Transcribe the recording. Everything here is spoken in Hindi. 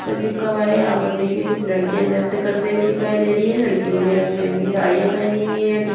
ट्र चिपका हुआ है यहाँ पर देखिये कुछ लडकिया नृत्य करते हुए दिखाई दे रही है लडकियो ने रंग-बिरंगी साड़िया पेहनी हुई है ठीक --